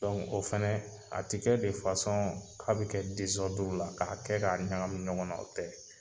o fɛnɛ a te kɛ de k'a be kɛ la ka kɛ ka ɲagami ɲɔgɔn na o tɛ